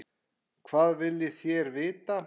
Hvað viljið þér vita?